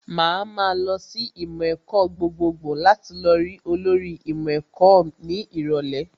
Màá ma lọ sí ìmọ̀ ẹ̀kọ́ gbogbogbò láti lọ rí olórí ìmọ̀ ẹ̀kọ́ ní ìrọ̀lẹ́